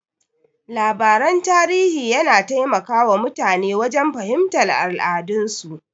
Labaran tarihi yana taimaka wa mutane wajen fahimtar al'adun su.